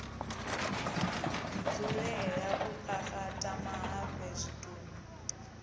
dzulela u kakata mahafhe zwitumbu